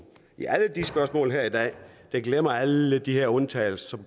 i alle de spørgsmål her i dag der glemmer man alle de her undtagelser